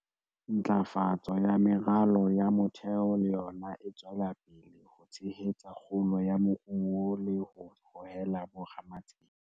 Ntlafatso ya meralo ya motheo le yona e tswela pele ho tshehetsa kgolo ya moruo le ho hohela bo ramatsete.